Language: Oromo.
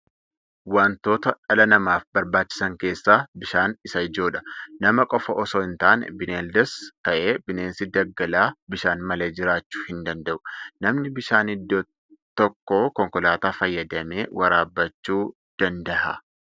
Wantoota dhala namaaf barbaachisan keessaa bishaan isa ijoodha. Nama qofa osoo hin taane bineeldas ta'ee bineensi dagaalaa bishaan malee jiraachuu hin danada'u. Namni bishaan iddoo tokkoo konkolaataa fayyadamee waraabbachuu dnada'a.